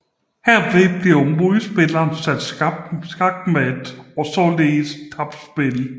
Herved bliver modspilleren sat skakmat og har således tabt spillet